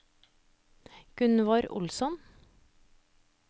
Gunvor Olsson